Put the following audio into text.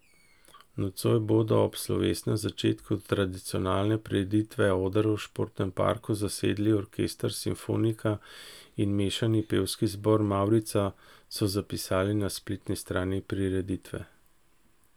Nocoj bodo ob slovesnem začetku tradicionalne prireditve oder v športnem parku zasedli orkester Simfonika in mešani pevski zbor Mavrica, so zapisali na spletni strani prireditve.